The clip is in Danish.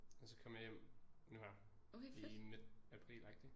Og så kom jeg hjem nu her i midt aprilagtig